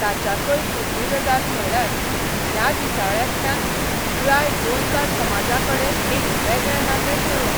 ताच्याकय फुडली गजाल म्हणल्यार ह्या दिसाळ्यांतल्यान पुराय गोंयकार समाजाकडेन एक वेगळें नातें जुळ्ळें.